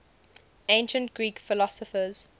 ancient greek philosophers